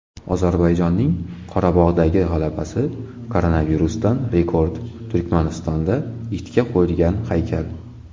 Ozarbayjonning Qorabog‘dagi g‘alabasi, koronavirusdan rekord, Turkmanistonda itga qo‘yilgan haykal.